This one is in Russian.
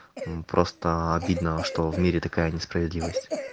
м просто обидно что в мире такая несправедливость